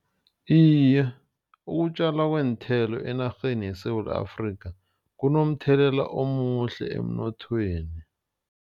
Iye, ukutjalwa kweenthelo enarheni yeSewula Afrika kunomthelela omuhle emnothweni.